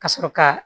Ka sɔrɔ ka